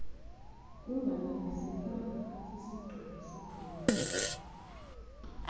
unganelisekanga sisigqibo sebhodi